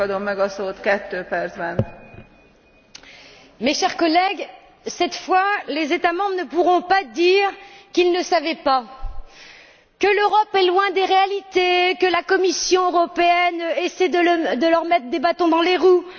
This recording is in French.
Madame la Présidente, chers collègues, cette fois, les États membres ne pourront pas dire qu'ils ne savaient pas, que l'Europe est loin des réalités ou que la Commission européenne essaie de leur mettre des bâtons dans les roues.